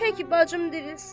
Təki bacım dirilsin.